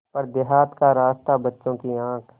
पर देहात का रास्ता बच्चों की आँख